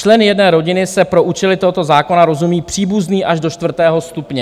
Členy jedné rodiny se pro účely tohoto zákona rozumí příbuzný až do čtvrtého stupně.